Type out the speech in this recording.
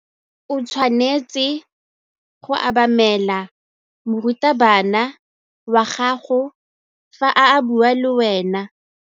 O tshwanetse go obamela morutabana wa gago fa a bua le wena.